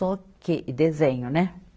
Só que, desenho, né?